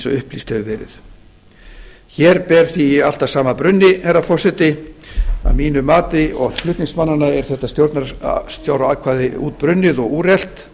upplýst hefur verið hér ber því allt að sama brunni herra forseti að mínu mati og flutningsmannanna er þetta stjórnarskráratriði útbrunnið og úrelt